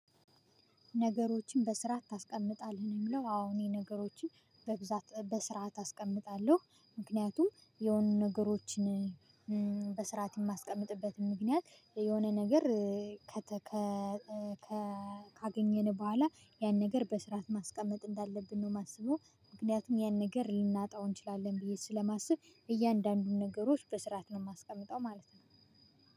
ነገሮችን በስርዓት ታስቀምጣለህ? የሚለው አሁን የነገሮችን በብዛት በስርዓት አስቀምጣለሁ ምክንያቱም የሆኑ ነገሮችን በስርዓት የማስቀምጥበትም ምክንያት የሆነ ነገር ካገኘን በኋላ ያን ነገር በስርዓት ማስቀመጥ እንዳለብን ነው። እማስበው ምክንያቱም ያን ነገር ልናጣው እንችላለን። ብዬ ስለማስብ እያንዳንዱን ነገሮች በስርዓት ነው የማስቀምጠው ማለት ነው።